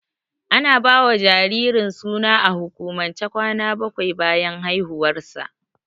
Ana ba wa jaririn suna a hukumance kwanaki bakwai bayan haihuwarsa.